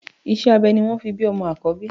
Iṣẹ́ abẹ ni wọ́n fi bí ọmọ àkọ́bí